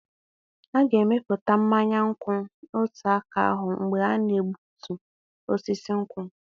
A ga-emepụta mmanya nkwụ n'otu aka ahụ mgbe a na-egbutu osisi nkwụ.